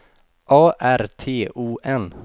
A R T O N